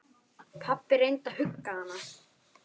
Pabbi reyndi að hugga hana.